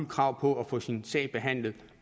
krav på at få sin sag behandlet